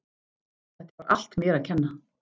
Þetta var allt mér að kenna.